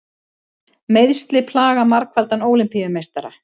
Meiðsli plaga margfaldan Ólympíumeistara